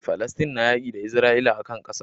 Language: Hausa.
Falastin na yaƙi da isra'ila akan ƙasa